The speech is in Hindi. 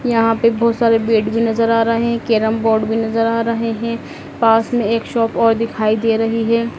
यहां पर बहोत सारे बेड भी नजर आ रहे हैं कैरम बोर्ड भी नजर आ रहे हैं पास में एक शॉप और दिखाई दे रही है।